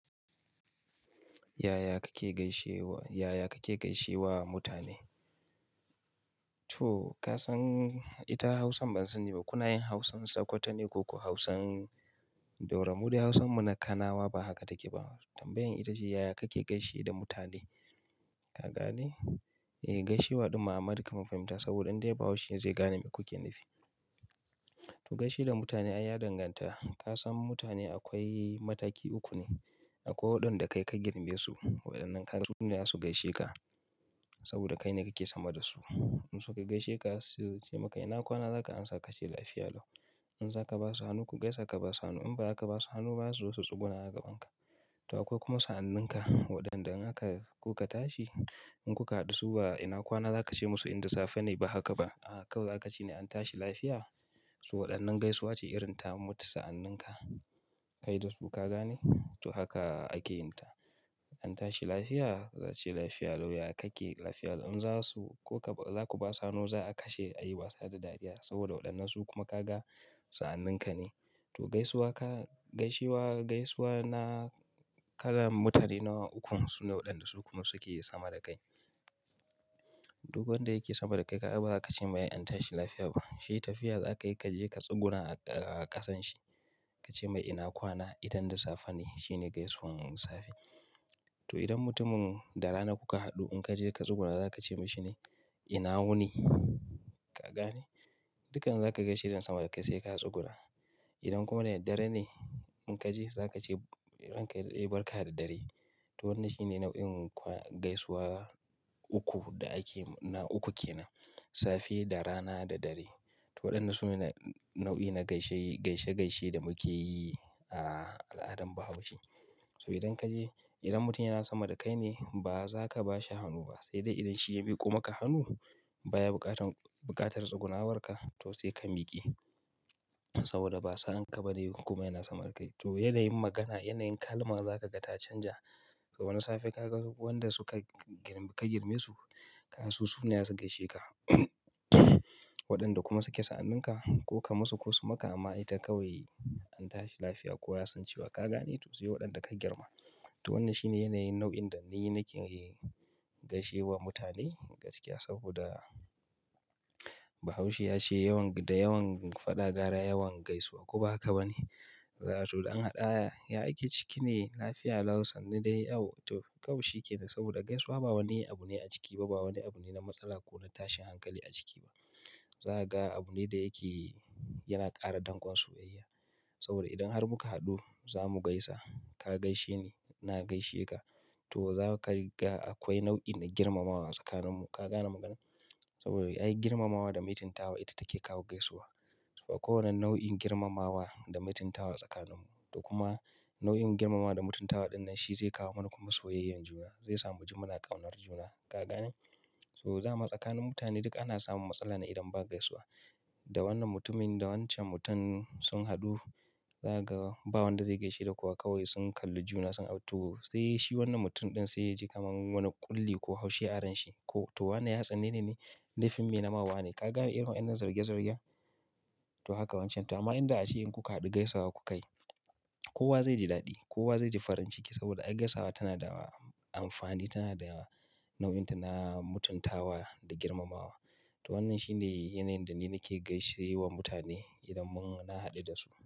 Yaya kake gaishe wa, yaya kake gaishe wa mutane? To ka san ita Hausan bansani ba, kuna yin Hausan Tsakkwata ne ko ku Hausan Daura. Mu dai Hausan mu na kanawa ba haka take ba. Tambayan ita ce ya ya kake gaishe da mutane? Ka gane? E, gaishewa din ma amma duk kaman fahimta saboda dai Bahaushe zai gane me kuke nufi. To gaishe da mutane an ya danganta. Ka san mutane akwai mataki uku ne. Akwai waɗanda kai ka girme su, waɗannan ka ai su ne za su gaishe ka saboda kai ne kake sama da su. In suka gaishe ka su ce maka, "ina kwana?" za ka amsa ka ce, "Lafiya lau." In za ka ba su hannu ku gaisa ka ba su hannu. In ba za ka ba su hannu ba su zo su tsuguna a gaban ka. To akwai kuma sa'anninka waɗanda in haka kuka tashi. In kuka haɗu su ba, "ina kwana?" za ka ce musu inda safe ne ba haka ba. A kawai za ka ce ne, "An tashi lafiya?" So waɗannan gaisuwa ce irin ta mutu sa'anninka. Kayi dosku ka gane? To haka ake yin ta. "An tashi lafiya?" Za su ce, "Lafiya lau." Ya kake lafiya lau? In za su, ko ka ba, za ku ba su hannu za a kashe a yi wasa da dariya saboda waɗannan su kuma ka ga sa'anninka ne. To gaisuwan ka, gaishe wa, gaisuwa na kalan mutane nawa ukun su ne waɗanda su kuma suke sama da kai. Duk wanda yake sama da kai ka ga baza ka ce mai, "An tashi lafiya" ba. Shi tafiya za ka yi ka je ka tsuguna a ƙasan shi. Ka ce mai, "ina kwana?" idan da safe ne. Shi ne gaisuwan safe. To idan mutumin da rana kuka haɗu in ka je ka tsuguna za ka ce mashi ne, "ina wuni." Ka gane? Dukan za ka gaishe da sama da kai sai ka tsuguna. Idan kuma da dare dare ne in ka je za ka ce, "Eh ranka ya dade barka da dare." To wannan shi ne nau'in gaisuwa uku da ake, na uku ke nan. Safe da rana da dare. To waɗannan su ne nau'i na gaishe, gaishe gaishe da muke yi a al'adan Bahaushe. To idan ka je, idan mutum yana sama da kai ne ba za ka ba shi hannu ba. Sai dai idan shi ya miƙo maka hannu baya buƙatan, buƙatar tsugunawarka to sai ka miƙe saboda ba sa'an ka ba ne kuma yana sama da kai. To yanayin magana, yanayin kalma za ka ga ta canja. To na safe ka ga waɗanda suka gir, ka girme su. Ka su, su ne za su gaishe ka waɗanda kuma suke sa'anninka ko ka masu ko su maka ma ita kawai "An tashi lafiya" ko yasan cewa ka gane to sai waɗanda ka girma. To wannan shi ne yanayin nau'in da ni nake gaishe wa mutane gaskiya saboda Bahaushe ya ce yawan da yawan faɗa gara yawan gaisuwa ko ba haka ba ne? To don an haɗu a hanya, ya aiki ciki ne lafiya lau sannu dai yawwa. To kawai shi ke nan saboda gaisuwa ba wani abu ne a ciki ba, ba wani abu ne na matsala ko na tashin hankali a ciki ba. Za ka ga abu ne da yake yana ƙara dangon soyayya. Saboda idan har muka haɗu za mu gaisa. Ka gaishe ni, na gaishe ka. To za ka riga akwai nau'in na girmamawa tsakaninmu. Ka gane magana? Saboda ai girmamawa da mutuntawa ita take kawo gaisuwa. To akwai wannan nau'in girmamawa da mutuntawa tsakaninmu. To kuma nau'in girmamawa da mutuntawa ɗin nan shi zai kawo mana kuma soyayyan juna. Zai sa mu ji muna ƙaunar juna. Ka gane? So dama tsakanin mutane duk ana samun matsala ne idan ba gaisuwa. Da wannan mutumin, da wancan mutum sun haɗu, za ka ga ba wanda zai gaishe da kowa kawai sun kalli juna sun rabu. To sai shi wannan mutum ɗin sai ya ji kamar wani ƙulli ko Haushe a ranshi ko. To wane ya tsane ni ne? Laifin mai nama wa ne. Ka gane irin wannan zarge zarge? To haka wancan. Da ma inda ashe in kuka haɗu gaisawa ku kayi. Kowa zai ji daɗi, kowa zai ji farin ciki saboda ai gaisawa tana da amfani, tana da nau'inta na mutuntawa da girmamawa. To wannan shi ne yanayin da ni nake gaishe wa mutane idan mun, na haɗu da su.